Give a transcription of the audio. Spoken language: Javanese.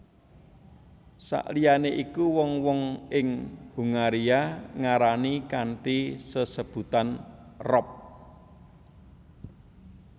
Saliyané iku wong wong ing Hungaria ngarani kanthi sesebutan rop